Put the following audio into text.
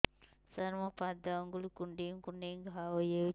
ସାର ମୋ ପାଦ ଆଙ୍ଗୁଳି କୁଣ୍ଡେଇ କୁଣ୍ଡେଇ ଘା ହେଇଯାଇଛି